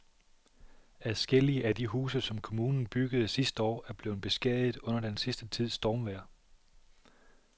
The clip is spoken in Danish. Adskillige af de huse, som kommunen byggede sidste år, er blevet beskadiget under den sidste tids stormvejr.